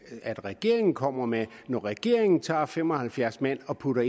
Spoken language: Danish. regeringen kommer med når regeringen tager fem og halvfjerds mand og putter